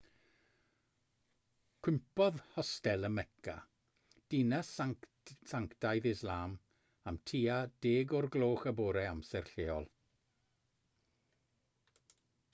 cwympodd hostel ym mecca dinas sanctaidd islam am tua 10 o'r gloch y bore amser lleol